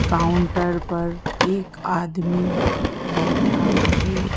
Counter पर एक आदमी बैठा है।